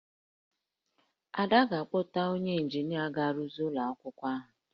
Ada ga-akpọta onye ịnjinịa ga-arụzi ụlọ akwụkwọ ahụ